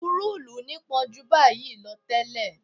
Tepurúùlù nípọn jù báyìí lọ tẹ́lẹ̀